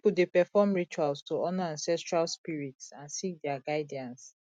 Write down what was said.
pipo dey perform rituals to honor ancestral spirits and seek dia guidance